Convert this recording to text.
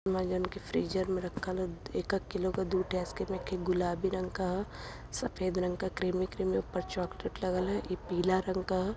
इमाजन के फ्रीजर में रखल ह एकक किलो के दुठे आइसक्रीम एकठे गुलाबी रंग का ह सफ़ेद रंग का क्रीम ही किम है। ऊपर चोकलेट लागल ह इ पिला रंग का ह।